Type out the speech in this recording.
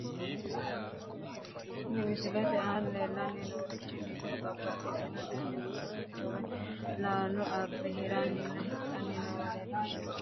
Kuni misilete aana leellanni noorichi dikkote mereershaati , isino mannu babbaxino dani uduunnicho woyi laalo abbe hiranninna hidhanni noowa leellishshanno.